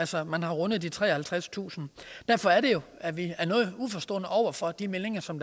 så har man rundet de treoghalvtredstusind derfor er det jo at vi er noget uforstående over for de meldinger som